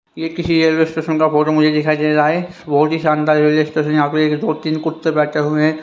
ये किसी railway station का फोटो मुझे दिखाई दे रहा है बहुत ही शानदार रेलवे स्टेशन यहां पे एक दो तीन कुत्ते बैठे हुए हैं।